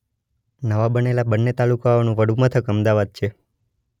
નવા બનેલા બંને તાલુકાઓનું વડુ મથક અમદાવાદ છે.